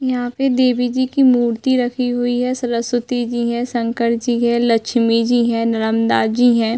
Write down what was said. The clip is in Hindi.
यहाँ पे देवी जी की मूर्ति रखी हुई है। सरस्वती जी है शंकर जी है लक्ष्मी जी है नरमदा जी है।